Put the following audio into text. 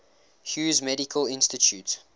hughes medical institute